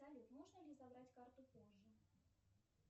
салют можно ли забрать карту позже